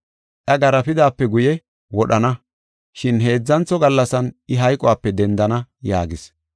Iya garaafidaape guye, wodhana, shin heedzantho gallasan I hayqope dendana” yaagis.